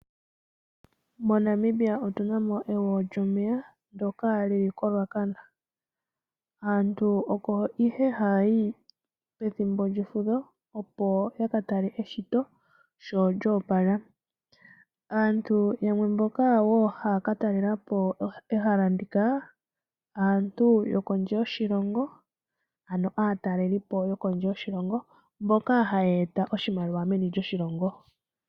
MoNamibia omuna ehala lye gwo, lyomeya lyili koRuacana, aantu oko haayi pethimbo lyefudho, opo yakatale eshito ndyono lyoopala, aantu oyendji mbaa ohaakatalelapo ehala ndika aantu yokondje yoshilongo noha yeeta oshimaliwa meni lyoshilongo.